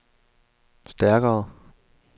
stærkere